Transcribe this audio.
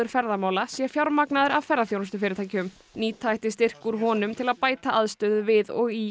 ferðamála sé fjármagnaður af ferðaþjónustufyrirtækjum nýta ætti styrki úr honum til að bæta aðstöðu við og í